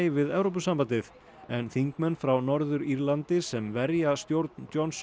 við Evrópusambandið en þingmenn frá Norður Írlandi sem verja stjórn Johnsons